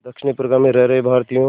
दक्षिण अफ्रीका में रह रहे भारतीयों